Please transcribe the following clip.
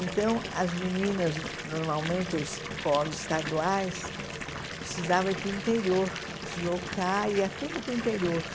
Então, as meninas, normalmente, em escolas estaduais, precisavam ir para o interior, deslocar, ia tudo para o interior.